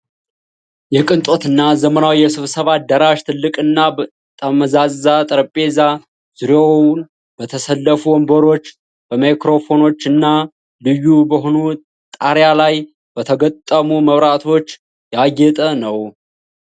የቅንጦት እና ዘመናዊ የስብሰባ አዳራሽ ። ትልቅና ጠመዝማዛ ጠረጴዛ፣ ዙሪያውን በተሰለፉ ወንበሮች፣ በማይክሮፎኖች እና ልዩ በሆኑ ጣሪያ ላይ በተገጠሙ መብራቶች ያጌጠ ነው።